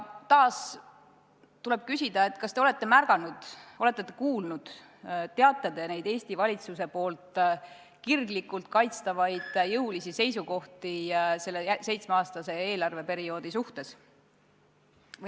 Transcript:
Taas tuleb küsida, kas te olete märganud, kas te olete kuulnud, kas te teate Eesti valitsuse kirglikult kaitstavaid jõulisi seisukohti selle seitsmeaastase eelarveperioodi suhtes.